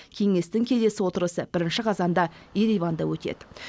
кеңестің келесі отырысы бірінші қазанда ереванда өтеді